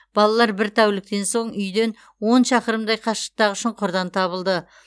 балалар бір тәуліктен соң үйден он шақырымдай қашықтықтағы шұңқырдан табылды